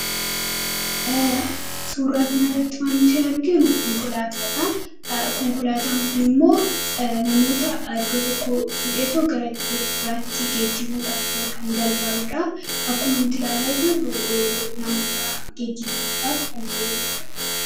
suurraa kan irratti wanti arginu konkolaataan kun immoo namoota addoo tokko fudheetoo garadoota biraatti geejjibuudhaaf kan gargaaruudha akkuma nuti ilaalaa jirru namoota geejjibsiudhaaf kan fayyaduudha